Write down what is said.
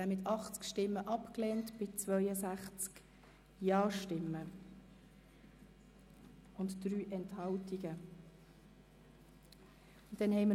Sie haben den Antrag mit 80 Nein-, 62 JaStimmen und 3 Enthaltungen abgelehnt.